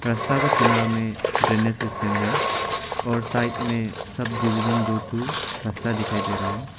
रस्ता का किनारो में ड्रेनेज सिस्टम है और साइड में सब डिवीजन दो ठो रस्ता दिखाई दे रहा है।